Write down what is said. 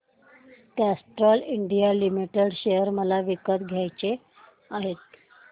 Castrol India limited share मला विकत घ्यायचे आहेत